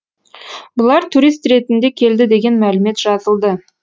бұлар турист ретінде келді деген мәлімет жазылды